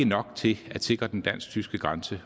nok til at sikre den dansk tyske grænse